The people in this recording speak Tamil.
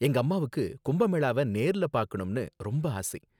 எங்க அம்மாவுக்கு கும்ப மேளாவ நேர்ல பார்க்கணும்னு ரொம்ப ஆசை